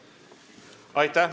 Aitäh!